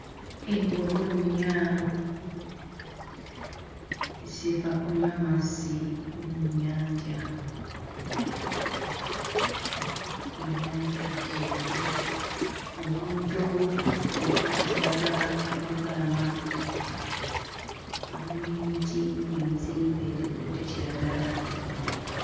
Embogo nnya ziva kunywa amazzi mu nnyanja ennyanja nteefu omuddo ogwa kiragala ku lubalama wamu n'emiti emiziyivu egikutte kiragala.